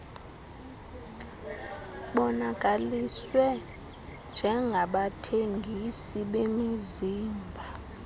bonakaliswe njengabathengisi bemizimba